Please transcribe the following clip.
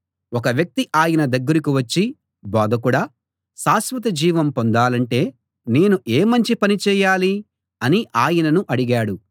ఒక వ్యక్తి ఆయన దగ్గరికి వచ్చి బోధకుడా శాశ్వతజీవం పొందాలంటే నేను ఏ మంచి పని చేయాలి అని ఆయనను అడిగాడు